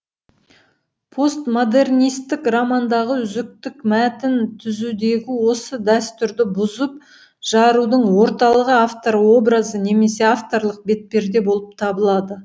постмодернистік романдағы үзіктік мәтін түзудегі осы дәстүрді бұзып жарудың орталығы автор образы немесе авторлық бетперде болып табылады